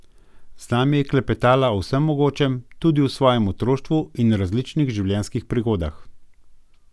Z nami je klepetala o vsem mogočem, tudi o svojem otroštvu in različnih življenjskih prigodah.